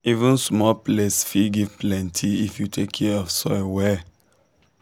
even small place fit give plenty if you take care of soil well.